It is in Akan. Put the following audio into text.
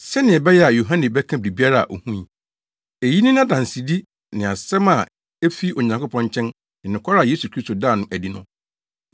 sɛnea ɛbɛyɛ a Yohane bɛka biribiara a ohui. Eyi ne nʼadansedi ne asɛm a efi Onyankopɔn nkyɛn ne nokware a Yesu Kristo daa no adi no.